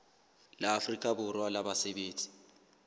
la afrika borwa la basebetsi